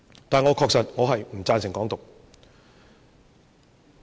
但是，我確實不贊成"港獨"。